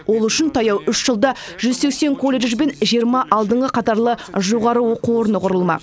ол үшін таяу үш жылда жүз сексен колледж бен жиырма алдыңғы қатарлы жоғары оқу орны құрылмақ